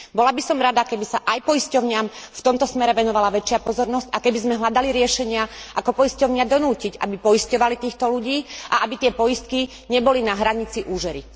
Bola by som rada, keby sa aj poisťovniam v tomto smere venovala väčšia pozornosť a keby sme hľadali riešenia, ako poisťovne donútiť, aby poisťovali týchto ľudí, a aby takéto poistky neboli na hranici úžery.